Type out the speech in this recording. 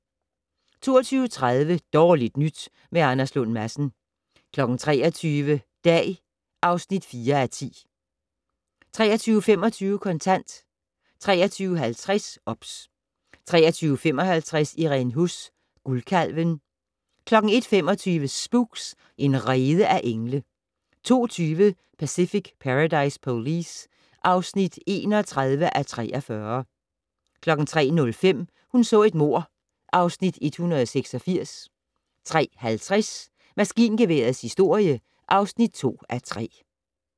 22:30: Dårligt nyt med Anders Lund Madsen 23:00: Dag (4:10) 23:25: Kontant 23:50: OBS 23:55: Irene Huss: Guldkalven 01:25: Spooks: En rede af engle 02:20: Pacific Paradise Police (31:43) 03:05: Hun så et mord (Afs. 186) 03:50: Maskingeværets historie (2:3)